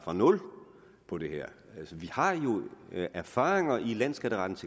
nul på det her altså vi har jo erfaringerne i landsskatterettens